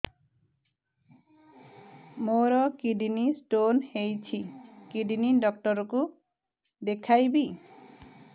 ମୋର kidney stone ହେଇଛି kidney doctor କୁ ଦେଖାଇବି